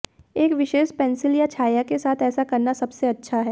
एक विशेष पेंसिल या छाया के साथ ऐसा करना सबसे अच्छा है